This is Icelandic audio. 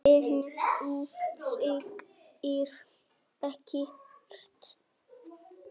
En þú segir ekkert.